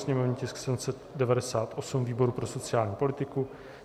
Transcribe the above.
sněmovní tisk 798 výboru pro sociální politiku;